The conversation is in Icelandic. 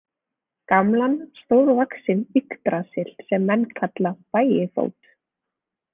Gamlan stórvaxinn yggdrasil sem menn kalla Bægifót.